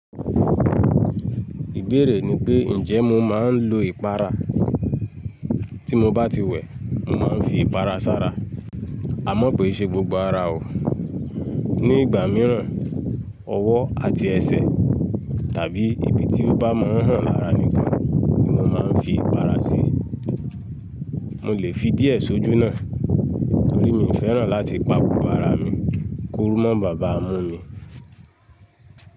Ìbéèrè ni pé, ǹjẹ́ mo máa ń lo ìpara? Tí mo bá ti wẹ̀, mo máa ń fi ìpara ṣára. Àmọ́ ko ì ṣe gbogbo ara o. Ni ìgbà mìíràn, ọwọ́ àti ẹsẹ̀ tàbí ibi tí ó bá mọ́ hàn lára mi kan ni mo máa ń fi ìpara sí. Mo lè fi díẹ̀ sójú náà torí mi ò fẹ́ràn láti pà gbogbo ara mi. Kórú mọ̀ bàabá mú mi.